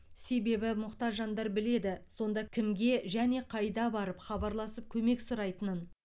себебі мұқтаж жандар біледі сонда кімге және қайда барып хабарласып көмек сұрайтынын